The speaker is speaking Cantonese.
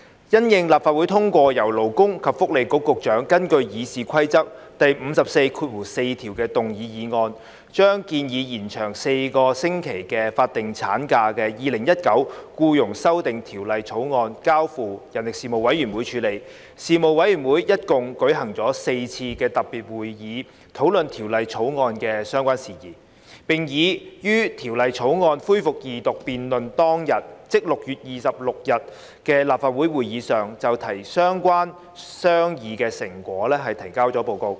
因應立法會通過由勞工及福利局局長根據《議事規則》第544條動議的議案，把建議延長4個星期法定產假的《2019年僱傭修例草案》交付事務委員會處理，事務委員會一共舉行了4次特別會議討論《條例草案》的相關事宜，並已於《條例草案》恢復二讀辯論當日，即6月26日的立法會會議上就相關商議成果提交了報告。